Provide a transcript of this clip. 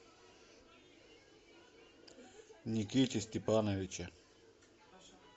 никите степановиче